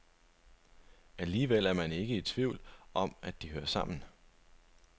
Alligevel er man ikke i tvivl om, at de hører sammen.